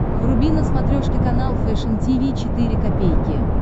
вруби на смотрешке канал фэшн ти ви четыре ка